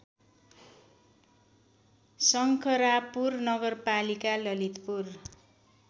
शङ्खरापुर नगरपालिका ललितपुर